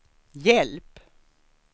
hjälp